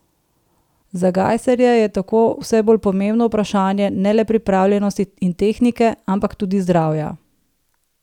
Za Gajserja je tako vse bolj pomembno vprašanje ne le pripravljenosti in tehnike, ampak tudi zdravja.